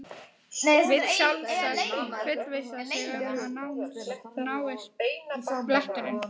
Vill sjálfsagt fullvissa sig um að úr náist bletturinn.